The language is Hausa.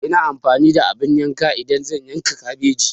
Ina amfani da abin yanka idan zan yanka kabeji.